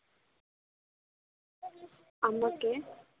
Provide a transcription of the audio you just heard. আপনাকে